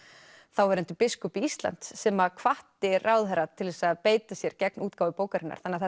þáverandi biskup Íslands sem að hvatti ráðherra til að beita sér gegn útgáfu bókarinnar þannig að